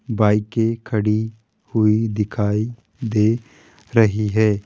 बाईके खड़ी हुई दिखाई दे रही है।